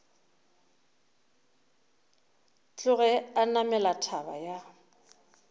tloge a namela thaba ya